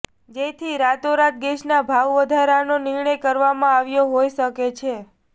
જેથી રાતોરાત ગેસના ભાવવધારાનો નિર્ણય કરવામાં આવ્યો હોઈ શકે છે